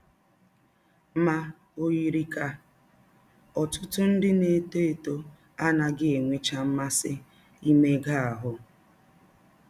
Ma ọ yiri ka ọtụtụ ndị na - etọ etọ anaghị enwecha mmasị imega ahụ́.